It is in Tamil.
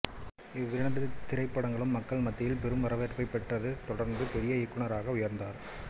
இவ்விரண்டு திரைப்படங்களும் மக்கள் மத்தியில் பெரும் வரவேற்பை பெற்றதைத் தொடர்ந்து பெரிய இயக்குநராக உயர்ந்தார்